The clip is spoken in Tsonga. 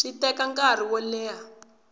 swi teka nkarhi wo leha